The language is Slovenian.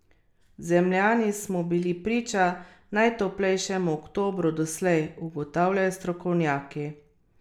Zemljani smo bili priča najtoplejšemu oktobru doslej, ugotavljajo strokovnjaki.